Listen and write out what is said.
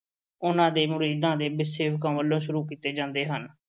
ਉਨ੍ਹਾਂ ਦੇ ਮੁਰੀਦਾਂ ਦੇ ਵੱਲੋਂ ਸ਼ੁਰੂ ਕੀਤੇ ਜਾਂਦੇ ਹਨ।